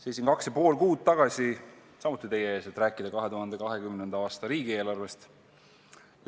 Seisin kaks ja pool kuud tagasi samuti teie ees, et rääkida 2020. aasta riigieelarvest.